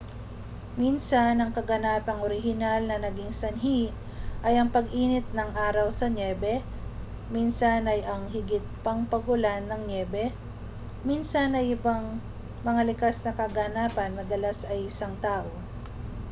minsan ang kaganapang orihinal na naging sanhi ay ang pag-init ng araw sa nyebe minsan ay ang higit pang pag-ulan ng nyebe minsan ay ibang mga likas na kaganapan madalas ay isang tao